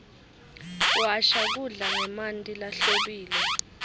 washa kudla ngemanti lahlobile